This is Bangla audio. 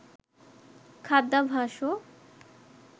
খাদ্যাভাসও